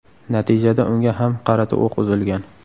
Natijada unga ham qarata o‘q uzilgan.